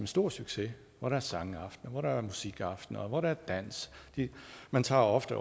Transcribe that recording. stor succes hvor der er sangaftener hvor der er musikaftener og hvor der er dans man tager også